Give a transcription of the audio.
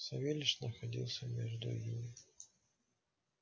савельич находился между ими